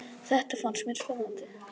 Þetta fannst mér spennandi.